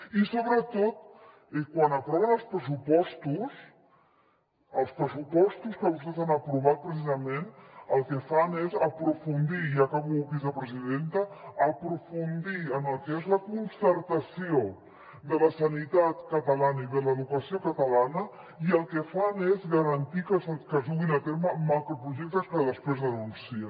i sobretot quan aproven els pressupostos els pressupostos que vostès han aprovat precisament el que fan és aprofundir i acabo vicepresidenta en el que és la concertació de la sanitat catalana i de l’educació catalana i el que fan és garantir que es duguin a terme macroprojectes que després denuncien